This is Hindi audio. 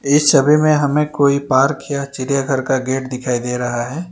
इस समय में हमें कोई पार किया चिड़ियाघर का गेट दिखाई दे रहा है।